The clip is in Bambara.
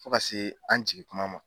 Fo ka se an jigin kuma ma